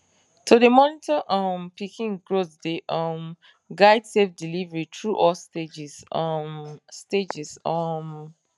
to dey monitor um pikin growth dey um guide safe delivery through all stages um stages um